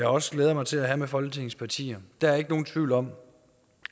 også glæder mig til at have med folketingets partier der er ikke nogen tvivl om